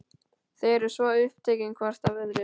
Þau eru svo upptekin hvort af öðru.